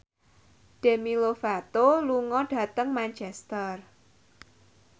Demi Lovato lunga dhateng Manchester